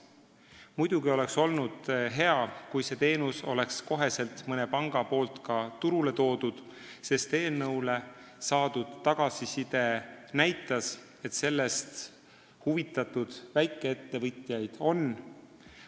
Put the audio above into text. Muidugi oleks olnud hea, kui mõni pank oleks kohe selle teenuse turule toonud, sest eelnõu kohta saadud tagasiside näitas, et sellest huvitatud väikeettevõtjaid on.